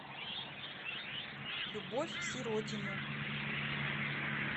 любовь сиротину